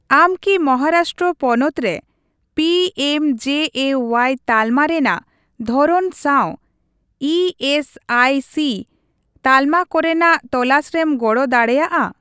ᱟᱢ ᱠᱤ ᱢᱚᱦᱟᱨᱟᱥᱴᱨᱚ ᱯᱚᱱᱚᱛ ᱨᱮ ᱯᱤᱮᱢᱡᱮᱮᱳᱣᱟᱭ ᱛᱟᱞᱢᱟ ᱨᱮᱱᱟᱜ ᱫᱷᱚᱨᱚᱱ ᱥᱟᱣ ᱮᱹᱮᱥᱹᱟᱭᱹᱥᱤ ᱛᱟᱞᱢᱟ ᱠᱚᱨᱮᱱᱟᱜ ᱛᱚᱞᱟᱥᱨᱮᱢ ᱜᱚᱲᱚ ᱫᱟᱲᱮᱭᱟᱜᱼᱟ ?